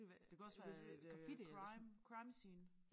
Det kunne også være et øh crime crime scene